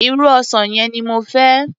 Irú ọsàn yẹn ni mo fẹ́.